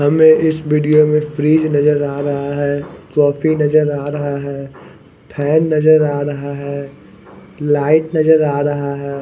हमें इस विडियो में फ्रिज नज़र आ रहा है कॉफी नज़र आ रहा है फैन नज़र आ रहा है लाइट नजर आ रहा है।